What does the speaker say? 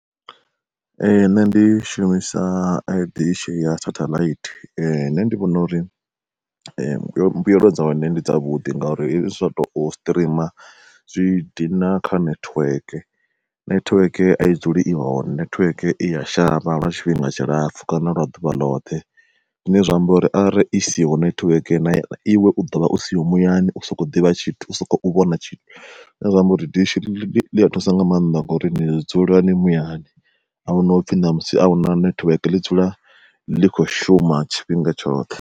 Ee nṋe ndi shumisa dishi ya setheḽaithi, nṋe ndi vhona uri mbuyelo dza hone ndi dza vhuḓi nga uri hezwi zwa to streamer zwi dina kha nethiweke. Nethiweke a i dzuli i hone nethiweke i ya shavha lwa tshifhinga tshilapfhu, kana lwa ḓuvha ḽoṱhe. Zwine zwa amba uri arali i siho nethiweke na iwe u ḓovha u siho muyani u soko ḓivha tshithu usa khou vhona tshithu, zwine zwa amba uri dishi ḽia thusa nga maanḓa ngori ni dzula ni muyani, ahuna upfhi ṋamusi ahuna nethiweke ḽi dzule ḽi kho shuma tshifhinga tshoṱhe.